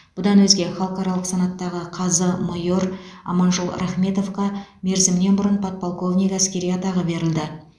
бұдан өзге халықаралық санаттағы қазы майор аманжол рахметовқа мерзімінен бұрын подполковник әскери атағы берілді